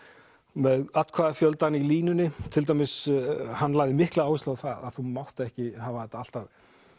með í línunni hann lagði mikla áherslu á það að þú mátt ekki hafa þetta alltaf